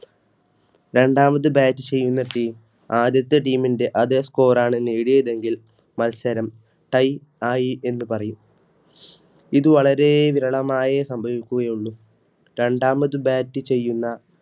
രണ്ടാമത് Bat ചെയ്യുന്ന Team ആദ്യത്തെ Team ന്റെ അതേ Score നേടിയതെങ്കിൽ മത്സരം Tie ആയി എന്ന് പറയും ഇത് വളരെ വിരളമായ സംഭവിക്കുകയുള്ളൂരണ്ടാമത് Bat ചെയ്യുന്ന